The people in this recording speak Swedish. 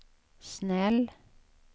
snäll